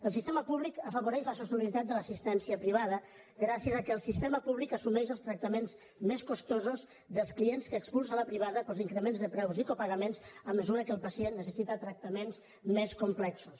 el sistema públic afavoreix la sostenibilitat de l’assistència privada gràcies al fet que el sistema públic assumeix els tractaments més costosos dels clients que expulsa la privada pels increments de preus i copagaments a mesura que el pacient necessita tractaments més complexos